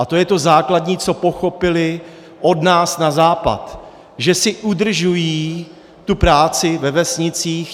A to je to základní, co pochopili od nás na západ, že si udržují tu práci ve vesnicích.